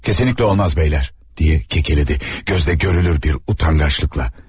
Kesinlikle olmaz bəylər, deyə kekeledi, gözlə görülür bir utangaçlıkla.